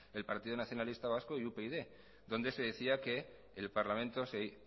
el partido nacionalistas vasco y upyd donde se decía que el parlamento